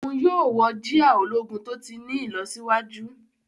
Òún yóò wọ jia ológun to ti ní ìlọsíwájú.